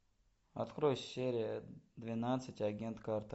открой серия двенадцать агент картер